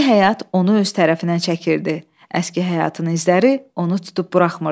Yeni həyat onu öz tərəfinə çəkirdi, əski həyatının izləri onu tutub buraxmırdı.